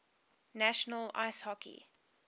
national ice hockey